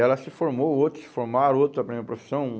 Ela se formou, outros se formaram, outros aprenderam a profissão.